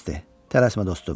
Tələsmə dostum.